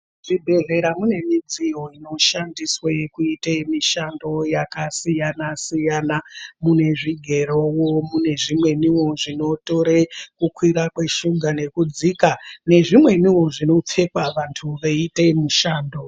Muzvibhedhlera mune midziyo inoshandiswa kuite mishando yakasiyana siyana mune zvigero nezvimweniwo zvinotore kukwira nekudzika kweshuga nezvimweni zvinopfekwa vantu veiite mushando.